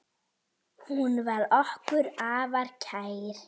Hún var okkur afar kær.